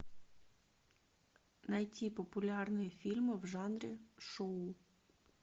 найти популярные фильмы в жанре шоу